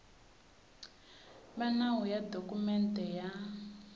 va nawu ya dokumende ya